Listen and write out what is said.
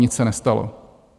Nic se nestalo.